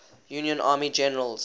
union army generals